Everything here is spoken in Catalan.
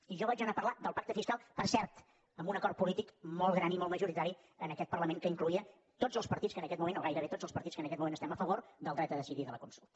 i jo vaig anar a parlar del pacte fiscal per cert amb un acord polític molt gran i molt majoritari en aquest parlament que incloïa tots els partits que en aquest moment o gairebé tots els partits que en aquest moment estem a favor del dret a decidir i de la consulta